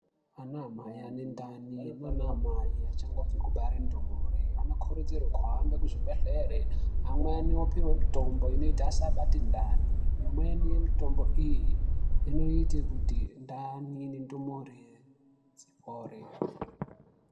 Ana mai ane ndani, naanamai achangobve kubare ndumure anokurudzirwe kuhambe kuzvibhedhlere amweni opihwe mitombo inoite asabate ndani , imweni mitombo iyi inoite kuti ndani nendumure dzipore.